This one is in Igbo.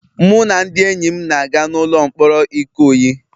Mụ na ndị enyi m na-aga n'ụlọ mkpọrọ Ikoyi